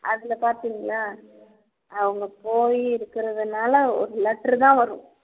அதுல பார்த்தீங்களா அவங்க போய் இருக்கிறதுனால ஒரு letter தான் வரும்